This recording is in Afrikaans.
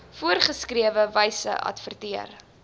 voorgeskrewe wyse adverteer